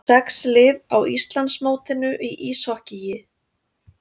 Sex lið á Íslandsmótinu í íshokkíi